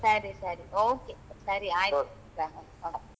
ಸರಿ ಸರಿ okay ಸರಿ ಆಯ್ತು bye bye